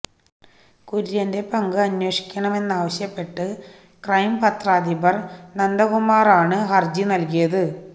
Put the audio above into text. കുര്യന്റെ പങ്ക് അന്വേഷിക്കണമെന്നാവശ്യപ്പെട്ട് ക്രൈം പത്രാധിപര് നന്ദകുമാറാണ് ഹര്ജി നല്കിയിത്